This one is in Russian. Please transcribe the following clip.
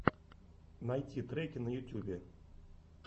найти треки на ютьюбе